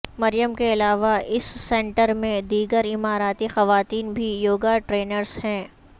مریم کے علاوہ اس سینٹر میں دیگر اماراتی خواتین بھی یوگا ٹرینرز ہیں